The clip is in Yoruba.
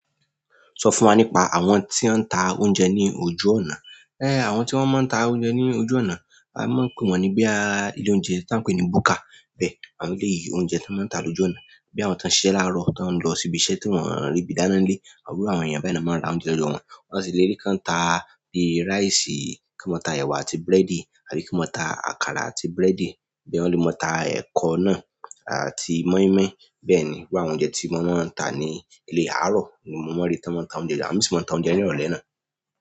Sọ fún wa nípa àwọn tí ó ń ta oúnjẹ ní ojú ọ̀nà. Ẹ́, àwọn tí wọ́n máa ń ta oúnjẹ ní ojú ọ̀nà, a máa ń pe wọ́n ní bíi ilé oúnjẹ tí a ń pè ní buka bẹ́ẹ̀, àwọn ilé ìyí oúnjẹ tí wọ́n máa ń ta lójú ọ̀nà, bí i àwọn tó ń ṣiṣẹ́ láàárọ̀ tó ń lọ síbi iṣẹ́ tí wọ́n rìbì dáná nílé, irú àwọn èèyàn bẹ́ẹ̀ ni wọ́n máa ń ra oúnjẹ lọdọ wọn. Ọ̀ sì lè rí kí wọ́n ta bí i rice, kí wọ́n máa ta ẹwà àti búrẹ́dì, àbí kí wọ́n máa ta àkàrà àti búrẹ́dì, boya wọ́n lè máa ta ẹ̀kọ náà àti moi-moi. Bẹ́ẹ̀ ni gbogbo àwọn oúnjẹ tí wọ́n máa ń tà ní ilé àárọ̀ ni mo máa ń rí tí wọ́n máa ń ta ni ìlú àwọn mìíràn tí wọn máa ń ta oúnjẹ ní ìrọ̀lẹ́ náà.